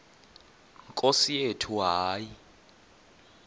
nkosi yethu hayi